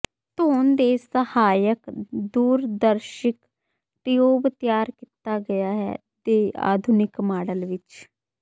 ਧੋਣ ਦੇ ਸਹਾਇਕ ਦੂਰਦਰਸ਼ਿਕ ਟਿਊਬ ਤਿਆਰ ਕੀਤਾ ਗਿਆ ਹੈ ਦੇ ਆਧੁਨਿਕ ਮਾਡਲ ਵਿੱਚ